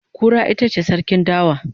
Kura itace sarkin dawa